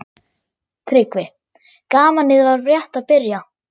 TRYGGVI: Gamanið var rétt að byrja.